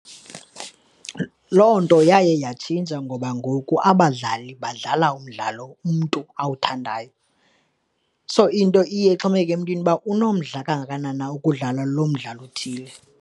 Loo nto yaye yatshintsha ngoba ngoku abadlali badlala umdlalo umntu awuthandayo. So, into iye ixhomekeke emntwini ukuba unomdla kangakanani na ukudlala lo mdlalo othile.